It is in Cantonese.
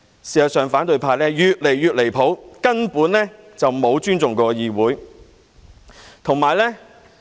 事實上，反對派越來越離譜，根本沒有尊重議會。